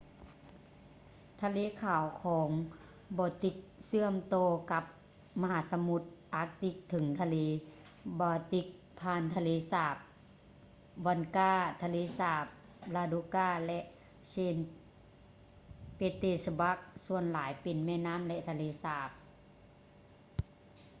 ທະເລຂາວ ຄອງ baltic ເຊື່ອມຕໍ່ກັບມະຫາສະມຸດອາກຕິກເຖິງທະເລ baltic ຜ່ານທະເລສາບ onega ທະເລສາບ ladoga ແລະ saint petersburg ສ່ວນຫຼາຍເປັນແມ່ນ້ຳ ແລະ ທະເລສາບ